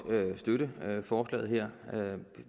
støtte forslaget her